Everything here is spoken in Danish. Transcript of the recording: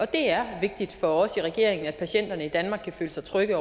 det er vigtigt for os i regeringen at patienterne i danmark kan føle sig trygge